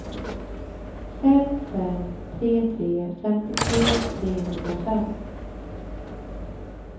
fem fem tre tre femtiotre trehundrafem